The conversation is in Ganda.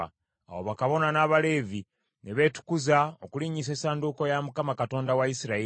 Awo bakabona n’Abaleevi ne beetukuza okulinnyisa essanduuko ya Mukama , Katonda wa Isirayiri.